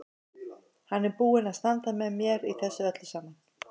Hann er búinn að standa með mér í þessu öllu saman.